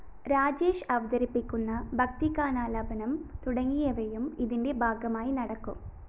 രാജേഷ് അവതരിപ്പിക്കുന്ന ഭക്തിഗാനാലാപനം തുടങ്ങിയവയും ഇതിന്റെ ഭാഗമായി നടക്കും